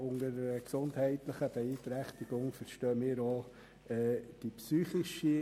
Unter einer gesundheitlichen Beeinträchtigung verstehen wir auch die psychische.